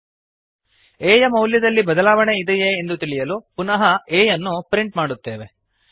a ಯ ಮೌಲ್ಯದಲ್ಲಿ ಬದಲಾವಣೆ ಇದೆಯೇ ಎಂದು ತಿಳಿಯಲು ಪುನಃ a ಯನ್ನು ಪ್ರಿಂಟ್ ಮಾಡುತ್ತೇವೆ